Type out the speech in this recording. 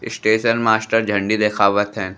Station master झंडी देखवात है।